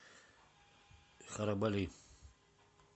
харабали